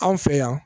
Anw fɛ yan